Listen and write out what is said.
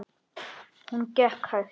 Hún gekk hægt.